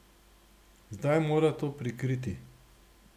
Zdaj mora to prikriti.